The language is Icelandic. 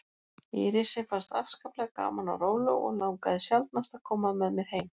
Írisi fannst afskaplega gaman á róló og langaði sjaldnast að koma með mér heim.